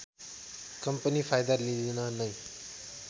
company फाइदा लिन नै